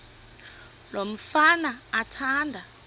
lo mfana athanda